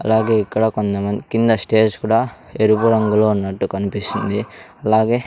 అలాగే ఇక్కడ కొంతమంది కింద స్టేజ్ కుడా ఎరుపు రంగు లో ఉన్నటు కనిపిస్తుంది అలాగే--